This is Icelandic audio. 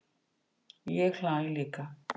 Ég hlæ líka.